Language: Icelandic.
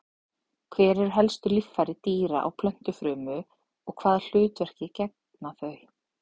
Hver eru helstu líffæri dýra- og plöntufrumu og hvaða hlutverki gegna þau?